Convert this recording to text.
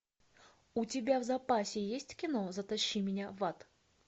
у тебя в запасе есть кино затащи меня в ад